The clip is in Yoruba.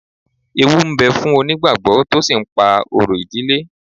Ewú ń bẹ̀ fún onígbàgbọ́ tó sì ń pa orò ìdílé